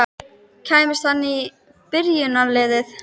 Kæmist hann í byrjunarliðið?